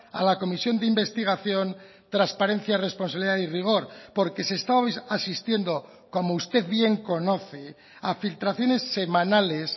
a la comisión de investigación transparencia responsabilidad y rigor porque se está asistiendo como usted bien conoce a filtraciones semanales